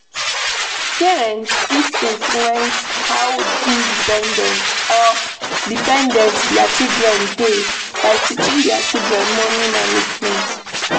Parent fit influence how independent or dependent their children dey by teaching their children money management